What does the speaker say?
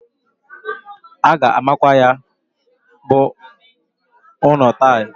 A ga-amakwa ya bụ ụnọ tail.